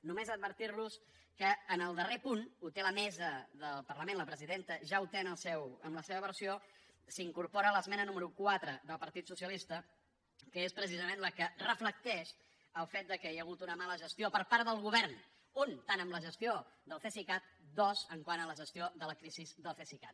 només advertir los que en el darrer punt ho té la mesa del parlament la presidenta ja ho té en la seva versió s’incorpora l’esmena número quatre del partit socialista que és precisament la que reflecteix el fet que hi ha hagut una mala gestió per part del govern un tant en la gestió del cesicat dos quant a la gestió de la crisi del cesicat